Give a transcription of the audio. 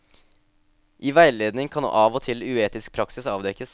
I veiledning kan av og til uetisk praksis avdekkes.